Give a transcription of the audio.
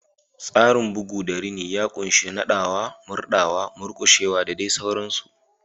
Tsarin bugu da rini ya ƙunshi naɗawa, murɗawa, murƙushewa, da dai sauransu.